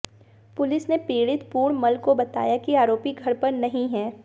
police ने पीड़ित पूर्णमल को बताया कि आरोपी घर पर नहीं है